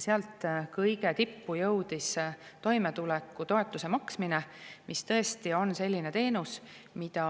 Sealt kõige tippu jõudis toimetulekutoetuse maksmine, mis tõesti on selline teenus, mida